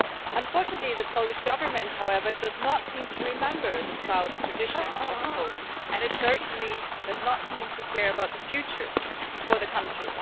Unfortunately, the Polish Government does not seem to remember the proud traditions of Poland and it certainly does not seem to care about the future of the country.